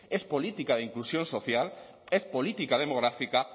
es política de inclusión social es política demográfica